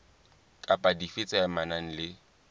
kapa dife tse amanang le